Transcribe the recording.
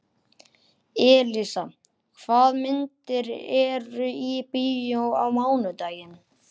Elísa, hvaða myndir eru í bíó á mánudaginn?